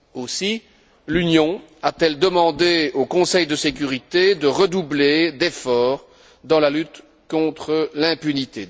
Aussi l'Union a t elle demandé au Conseil de sécurité de redoubler d'efforts dans la lutte contre l'impunité.